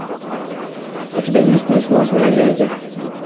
у тебя есть несносные леди